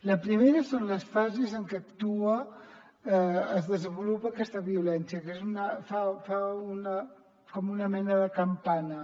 la primera són les fases en què es desenvolupa aquesta violència que fa com una mena de campana